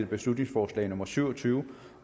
beslutningsforslag nummer b syv og tyve